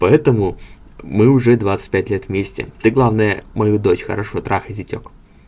поэтому мы уже двадцать пять лет вместе ты главное мою дочь хорошо трахай зятёк